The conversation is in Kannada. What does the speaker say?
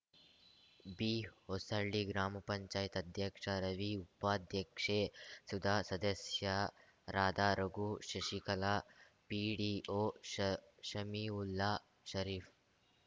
ಬಿಹೊಸಳ್ಳಿ ಗ್ರಾಮಪಂಚಾಯತಿ ಅಧ್ಯಕ್ಷ ರವಿ ಉಪಾಧ್ಯಕ್ಷೆ ಸುಧಾ ಸದಸ್ಯರಾದ ರಘು ಶಶಿಕಲಾ ಪಿಡಿಒ ಷ ಶಮೀವುಲ್ಲಾ ಶರೀಫ್‌